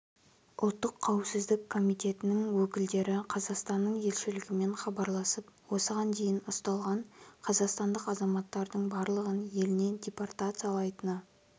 ұлттық қауіпсіздік комитетінің өкілдері қазақстанның елшілігімен хабарласып осыған дейін ұсталған қазақстандық азаматтардың барлығын еліне депортациялайтыны